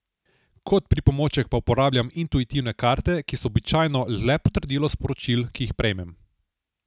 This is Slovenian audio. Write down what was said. Kot pripomoček pa uporabljam intuitivne karte, ki so običajno le potrdilo sporočil, ki jih prejmem.